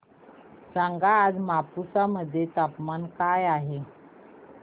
सांगा आज मापुसा मध्ये तापमान काय आहे